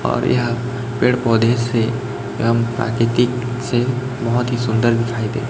और यह पेड़ पौधे से एवं प्राकृतिक से बहुत ही सुंदर दिखाई दे--